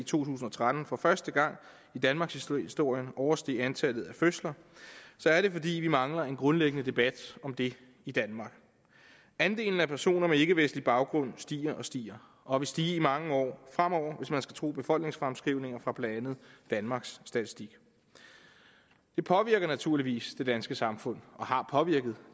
tusind og tretten for første gang i danmarkshistorien oversteg antallet af fødsler er det fordi vi mangler en grundlæggende debat om det i danmark andelen af personer med ikkevestlig baggrund stiger og stiger og vil stige i mange år fremover hvis man skal tro befolkningsfremskrivninger fra blandt andet danmarks statistik det påvirker naturligvis det danske samfund og har påvirket